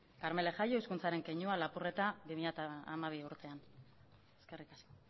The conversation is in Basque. karmele jaio hizkuntzaren keinua lapurreta bi mila hamabi urtean eskerrik asko